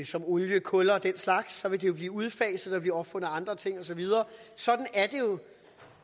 som olie og kul og den slags så vil de blive udfaset og blive opfundet andre ting og så videre